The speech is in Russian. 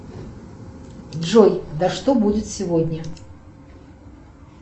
джой да что будет сегодня